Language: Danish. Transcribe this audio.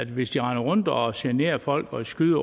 hvis de render rundt og generer folk og skyder